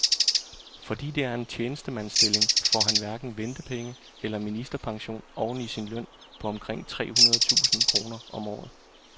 Fordi det er en tjenestemandsstilling, får han hverken ventepenge eller ministerpension oveni sin løn på omkring tre hundrede tusind kroner om året.